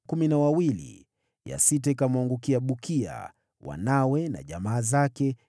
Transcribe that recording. ya sita ikamwangukia Bukia, wanawe na jamaa zake, 12